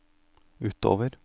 utover